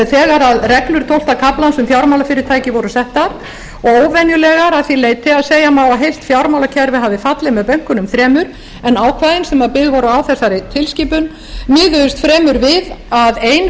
þegar reglur tólfta kafla laga um fjármálafyrirtæki voru settar og óvenjulegar að því leyti að segja má að heilt fjármálakerfi hafi fallið með bönkunum þremur en ákvæðin sem byggð voru á þessari tilskipun miðuðust fremur við að ein